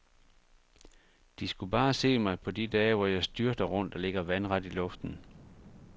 De skulle bare se mig på de dage, hvor jeg styrter rundt og ligger vandret i luften.